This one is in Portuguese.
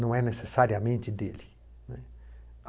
não é necessariamente dele, né.